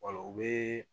u bɛ